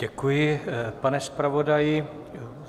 Děkuji, pane zpravodaji.